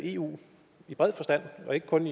eu i bred forstand og ikke kun